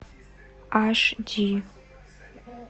аш ди